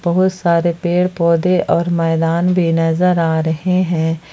बहुत सारे पेड़ पौधे और मैदान भी नजर आ रहे हैं।